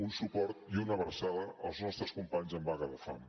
un suport i una abraçada als nostres companys en vaga de fam